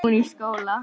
Hún í skóla.